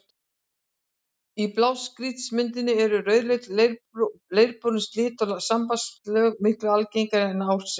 Í blágrýtismynduninni eru rauðleit, leirborin silt- og sandsteinslög miklu algengari en árset.